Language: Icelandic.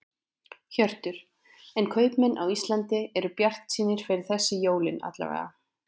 Hjörtur: En kaupmenn á Íslandi eru bjartsýnir fyrir þessi jólin alla vega?